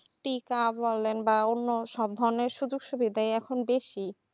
টিকা বলেন বা অন্য সব ধরণের সুযোগ সুবিধায় এখন বেশি